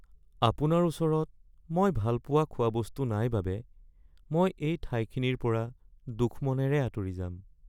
আপোনাৰ ওচৰত মই ভাল পোৱা খোৱা বস্তু নাই বাবে মই এই ঠাইখিনিৰ পৰা দুখ মনেৰে হৈ আঁতৰি যাম৷